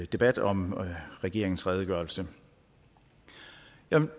debat om regeringens redegørelse jeg